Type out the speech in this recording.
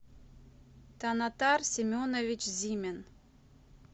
танатар семенович зимин